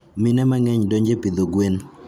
Mine mangeny donje pidho gwen